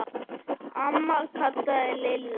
Amma kallaði Lilla.